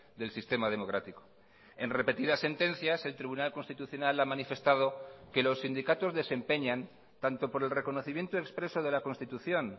del sistema democrático en repetidas sentencias el tribunal constitucional ha manifestado que los sindicatos desempeñan tanto por el reconocimiento expreso de la constitución